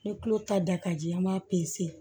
Ni tulo ta da ka di an b'a pese